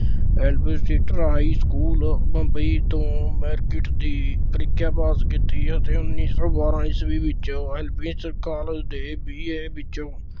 high school Bombay ਤੋਂ matric ਦੀ ਪ੍ਰੀਖਿਆ pass ਕੀਤੀ ਅਤੇ ਉੱਨੀ ਸੋਂ ਬਾਰਾਂ ਈਸਵੀ ਵਿੱਚ ਕਾਲਜ ਦੇ BA ਵਿੱਚੋਂ